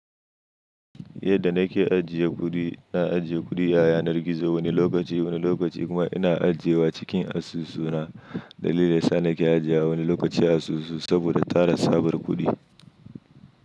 Yadda na ke ajiye kuɗi, na ajiye kuɗi a yanar gizo wani lokaci wani lokaci kuma ina ajiye wa cikin asusu na. Dalilin sa na ke ajiye wani lokaci a asusu saboda tara sabar kuɗi.